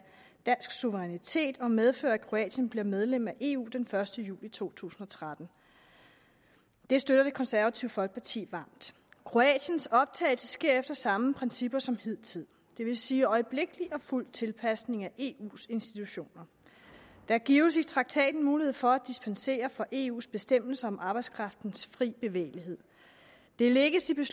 dansk suverænitet og medfører at kroatien bliver medlem af eu den første juli to tusind og tretten det støtter det konservative folkeparti varmt kroatiens optagelse sker efter de samme principper som hidtil det vil sige øjeblikkelig og fuld tilpasning af eus institutioner der gives i traktaten mulighed for at dispensere fra eus bestemmelser om arbejdskraftens frie bevægelighed der lægges i